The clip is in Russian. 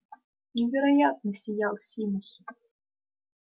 невероятно сиял симус